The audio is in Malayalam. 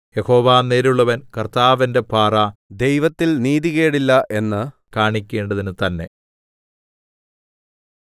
യഹോവ നേരുള്ളവൻ കർത്താവ് എന്റെ പാറ ദൈവത്തിൽ നീതികേടില്ല എന്ന് കാണിക്കേണ്ടതിന് തന്നെ